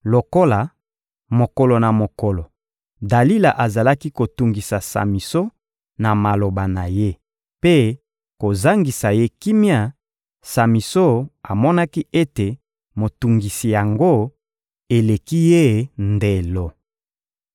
Lokola, mokolo na mokolo, Dalila azalaki kotungisa Samison na maloba na ye mpe kozangisa ye kimia, Samison amonaki ete motungisi yango eleki ye ndelo.